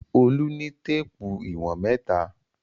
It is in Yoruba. Olú ní téépù ìwọ̀n mẹ́ta.